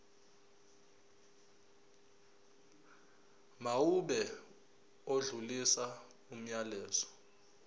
mawube odlulisa umyalezo